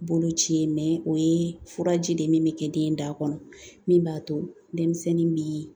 Boloci ye o ye furaji de min bɛ kɛ den da kɔnɔ min b'a to denmisɛnnin bɛ